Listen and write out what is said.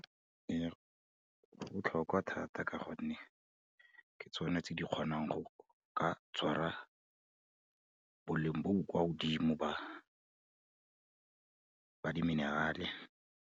Ee, go botlhokwa thata ka gonne, ke tsone tse di kgonang go ka tshwara boleng bo bo kwa godimo ba di-mineral-e.